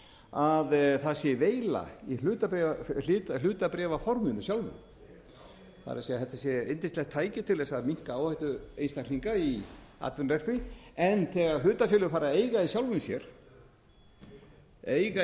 að það sé veila í hlutabréfaforminu sjálfu það er þetta sé yndislegt tæki til þess að minnka áhættu einstaklinga í atvinnurekstri en þegar hlutafélög fara að eiga í sjálfum sér eiga